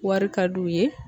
Wari ka d'u ye